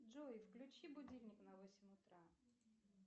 джой включи будильник на восемь утра